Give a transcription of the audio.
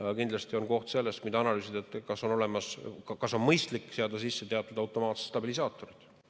Aga kindlasti on koht, mida analüüsida, see, kas on mõistlik seada sisse teatud automaatsed stabilisaatorid.